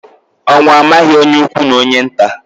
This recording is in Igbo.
Ọnwụ amaghị onye ukwu na onye nta